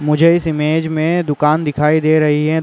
मुझे इस इमेज में दुकान दिखाई दे रही है।